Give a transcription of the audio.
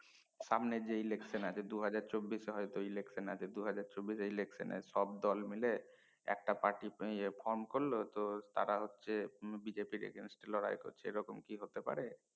সামনে যে election আছে দু হাজার চব্বিশ হয় তো আছে দু হাজার চব্বিশ এ সব দল মিলে একটা পাটি ইয়ে ফর্ম করলো তো তারা হচ্ছে হম BJB এর against এ লড়াই করছে এ রকম কি হতে পারে